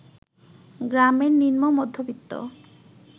গ্রামের নিম্ন মধ্যবিত্ত